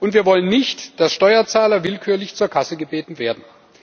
Wir wollen nicht, dass Steuerzahler willkürlich zur Kasse gebeten werden.